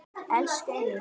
Elsku Egill.